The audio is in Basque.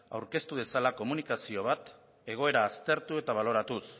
aurkeztu dezala komunikazio bat egoera aztertu eta baloratuz